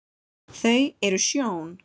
þau eru sjón